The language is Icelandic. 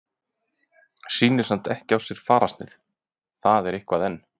Sýnir samt ekki á sér fararsnið, það er eitthvað enn.